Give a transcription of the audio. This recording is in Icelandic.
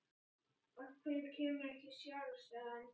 Af hverju kemurðu ekki sjálf? sagði hann.